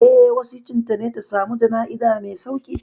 Eh, wasicin ta ne ta samu jana'iza mai sauƙi.